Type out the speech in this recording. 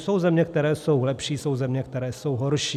Jsou země, které jsou lepší, jsou země, které jsou horší.